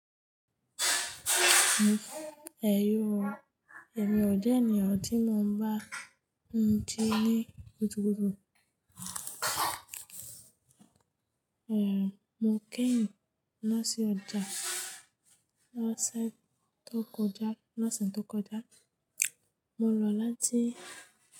Ẹ̀yọ̀, èmi ọ̀ jẹ́ ènìyàn tí mo ń bá ń jí ní kùtùkùtù. Ehn, mo kéyìn lọ sí ọjà lọ́sẹ̀ tó kọjá, lọ́sẹ̀ tó kọjá. Mo lọ láti.